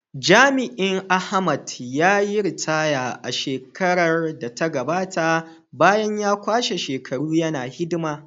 Jami’in Ahmed, ya yi ritaya a shekarar da ta gabata bayan ya kwashe shekaru yana hidima.